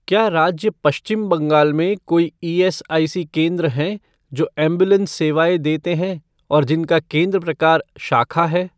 क्या राज्य पश्चिम बंगाल में कोई ईएसआईसी केंद्र हैं जो एंबुलेंस सेवाएँ देते हैं और जिनका केंद्र प्रकार शाखा है?